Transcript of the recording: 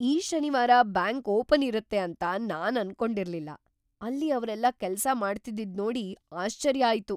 ಈ ಶನಿವಾರ bank open ಇರುತ್ತೆ ಅಂತ ನಾನ್ ಅನ್ಕೊಂಡಿರ್ಲಿಲ್ಲ, ಅಲ್ಲಿ ಅವ್ರೆಲ್ಲ ಕೆಲ್ಸ ಮಾಡ್ತಿದ್ದಿದ್ನೋಡಿ ಆಶ್ಚರ್ಯ ಆಯ್ತು.